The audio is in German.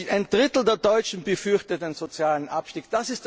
in die Rezession hinein. Ein Drittel der Deutschen befürchtet